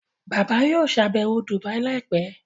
Bàbá yóò ṣàbẹ̀wọ̀ Dubai láìpẹ́